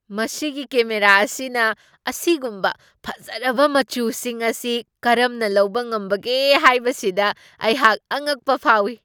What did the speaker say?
ꯃꯁꯤꯒꯤ ꯀꯦꯃꯦꯔꯥ ꯑꯁꯤꯅ ꯑꯁꯤꯒꯨꯝꯕ ꯐꯖꯔꯕ ꯃꯆꯨꯁꯤꯡ ꯑꯁꯤ ꯀꯔꯝꯅ ꯂꯧꯕ ꯉꯝꯕꯒꯦ ꯍꯥꯏꯕꯁꯤꯗ ꯑꯩꯍꯥꯛ ꯑꯉꯛꯄ ꯐꯥꯎꯏ!